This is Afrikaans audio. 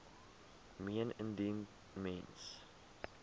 meen indien mens